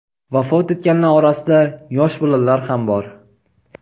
Vafot etganlar orasida yosh bolalar ham bor .